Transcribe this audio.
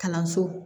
Kalanso